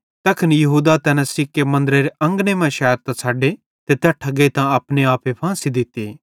तैखन यहूदा तैना सिक्के मन्दरेरे अंगने मां शैरतां छ़डे ते तैट्ठां गेइतां अपने आपे फांसी दित्ती